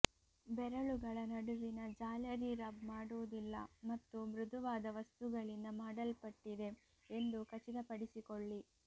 ಬೆರಳುಗಳ ನಡುವಿನ ಜಾಲರಿ ರಬ್ ಮಾಡುವುದಿಲ್ಲ ಮತ್ತು ಮೃದುವಾದ ವಸ್ತುಗಳಿಂದ ಮಾಡಲ್ಪಟ್ಟಿದೆ ಎಂದು ಖಚಿತಪಡಿಸಿಕೊಳ್ಳಿ